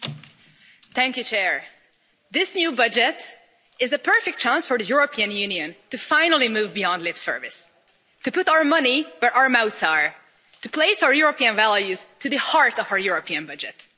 Madam President, this new budget is a perfect chance for the European Union to finally move beyond lip service, to put our money where our mouths are, to place our European values at the heart of our European budget.